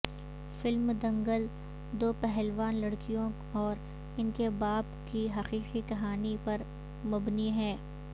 film Dangal دو پہلوان لڑکیوں اور ان کے باپ کی حقیقی کہانی پر مبنی ہے